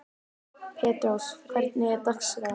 Petrós, hvernig er dagskráin?